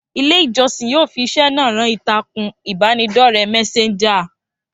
Ilé ìjọsìn yóò fi iṣẹ́ náà rán ìtàkùn ìbánidọ́rẹ́ mẹ́séńjà